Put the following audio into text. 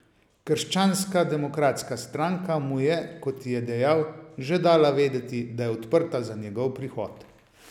Krščanska demokratska stranka mu je, kot je dejal, že dala vedeti, da je odprta za njegov prihod.